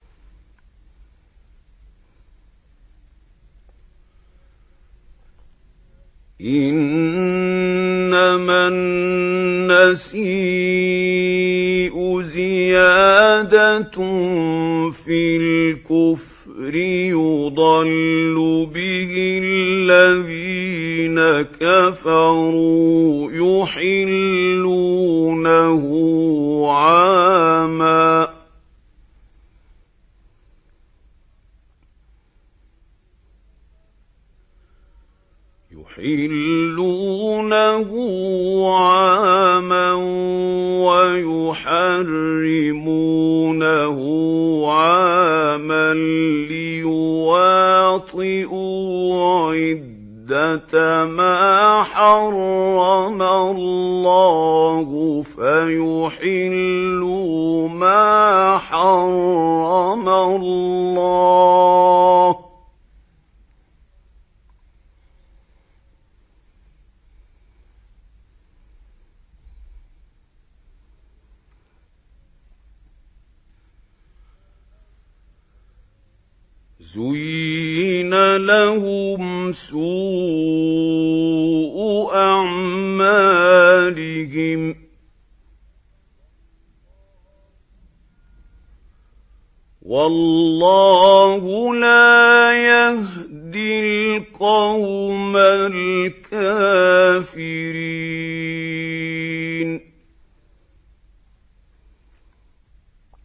إِنَّمَا النَّسِيءُ زِيَادَةٌ فِي الْكُفْرِ ۖ يُضَلُّ بِهِ الَّذِينَ كَفَرُوا يُحِلُّونَهُ عَامًا وَيُحَرِّمُونَهُ عَامًا لِّيُوَاطِئُوا عِدَّةَ مَا حَرَّمَ اللَّهُ فَيُحِلُّوا مَا حَرَّمَ اللَّهُ ۚ زُيِّنَ لَهُمْ سُوءُ أَعْمَالِهِمْ ۗ وَاللَّهُ لَا يَهْدِي الْقَوْمَ الْكَافِرِينَ